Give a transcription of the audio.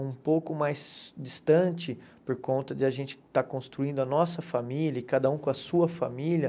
Um pouco mais distante por conta de a gente estar construindo a nossa família e cada um com a sua família.